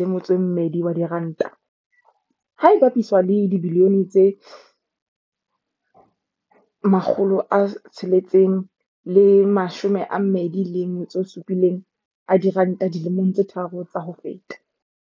R812, ha e bapiswa le dibilione tse R627 dilemong tse tharo tsa ho feta.